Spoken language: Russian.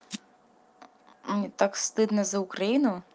мне так стыдно за украину